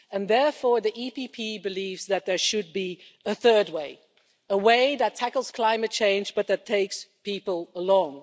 Therefore, the EPP Group believes that there should be a third way a way that tackles climate change but that takes people along